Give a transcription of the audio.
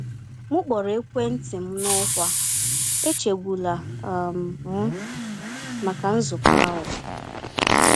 M kpọrọ ekwentị m n’ọkwa “echegbula um m” maka nzukọ ahụ.